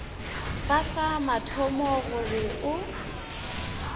fa sa mathomo gore o